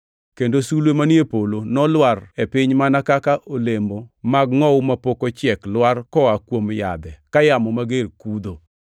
kendo sulwe manie polo nolwar e piny mana kaka olemo mag ngʼowu mapok ochiek lwar koa kuom yadhe ka yamo mager kudho.